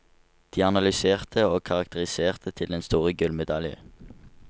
De analyserte og karakteriserte til den store gullmedalje.